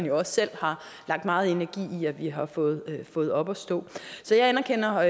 jo selv har lagt meget energi i at vi har fået fået op at stå så jeg anerkender